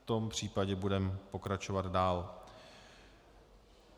V tom případě budeme pokračovat dál.